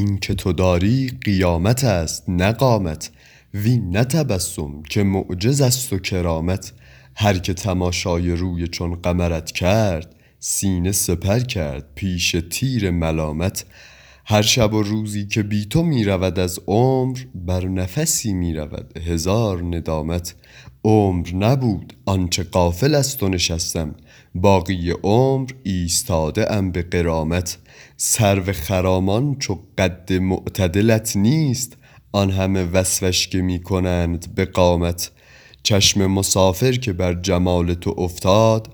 این که تو داری قیامت است نه قامت وین نه تبسم که معجز است و کرامت هر که تماشای روی چون قمرت کرد سینه سپر کرد پیش تیر ملامت هر شب و روزی که بی تو می رود از عمر بر نفسی می رود هزار ندامت عمر نبود آن چه غافل از تو نشستم باقی عمر ایستاده ام به غرامت سرو خرامان چو قد معتدلت نیست آن همه وصفش که می کنند به قامت چشم مسافر که بر جمال تو افتاد